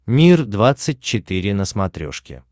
мир двадцать четыре на смотрешке